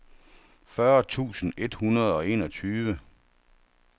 fyrre tusind et hundrede og enogtyve